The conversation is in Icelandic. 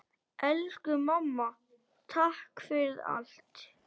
Elsku mamma, takk fyrir allt.